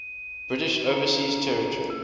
british overseas territory